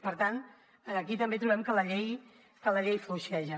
per tant aquí també trobem que la llei fluixeja